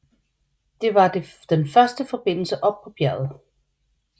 Det var den første forbindelse op på bjerget